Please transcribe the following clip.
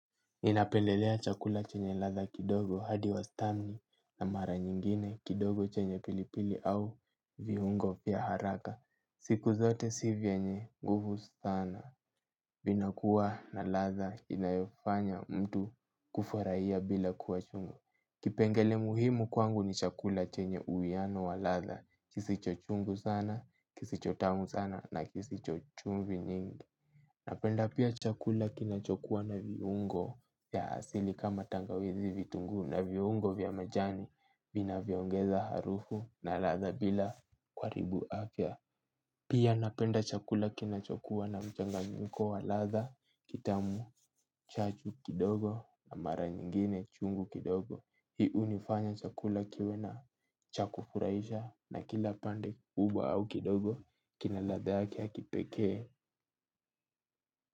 Ninapendelea chakula chenye ladha kidogo hadi wastani na mara nyingine kidogo chenye pilipili au viungo vya haraka. Siku zote si vyenye nguvu sana. Vinakuwa na ladha inayofanya mtu kufurahia bila kuwa chungu. Kipengele muhimu kwangu ni chakula chenye uwiano wa ladha. Kisicho chungu sana, kisicho tamu sana na kisicho chumvi nyingi. Napenda pia chakula kinachokuwa na viungo ya asili kama tangawizi, vitunguu na viungo vya majani vinavyoongeza harufu na ladha bila kuharibu afya. Pia napenda chakula kinachokuwa na mchanganyiko wa ladha kitamu, chachu kidogo na mara nyingine chungu kidogo. Hii hunifanya chakula kiwe cha kufurahisha na kila pande uba au kidogo kina ladha yake ya kipekee.